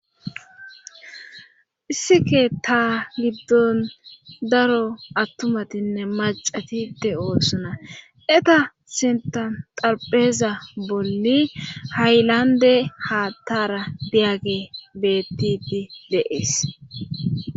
Issi keeta giddon daro attumatinne macatide oosona eta sentaxalpheeza bolli haylande haattara diyage bettiti dees.